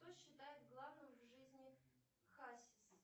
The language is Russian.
что считает главным в жизни хасис